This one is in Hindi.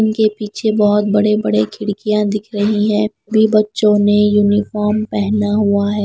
उनके पीछे बहुत बड़े बड़े खिड़कियाँ दिख रही हैं भी बच्चों ने यूनिफॉर्म पहना हुआ है।